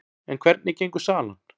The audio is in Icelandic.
En hvernig gengur salan?